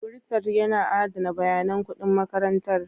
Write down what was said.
Bursar yana adana bayanan kuɗin makarantar.